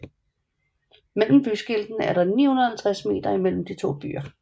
Mellem byskiltene er der 650 meter imellem de 2 byer